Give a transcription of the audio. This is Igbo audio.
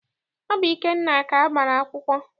Ọ bụ Ikenna ka a gbara akwụkwọ.